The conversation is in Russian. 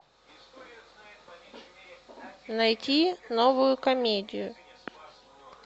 найти новую комедию